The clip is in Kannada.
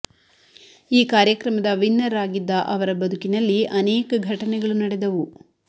ಈ ಕಾರ್ಯಕ್ರಮದ ವಿನ್ನರ್ ಆಗಿದ್ದ ಅವರ ಬದುಕಿನಲ್ಲಿ ಅನೇಕ ಘಟನೆಗಳು ನಡೆದವು